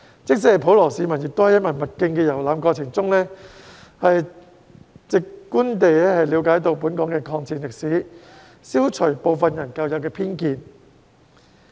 即使普羅市民，亦可在文物徑的遊覽過程中直觀地了解本港的抗戰歷史，消除部分人的舊有偏見。